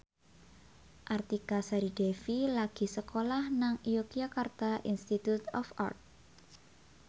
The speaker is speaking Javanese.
Artika Sari Devi lagi sekolah nang Yogyakarta Institute of Art